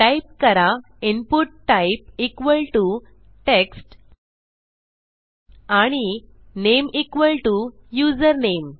type करा input type equal to text आणि name equal to username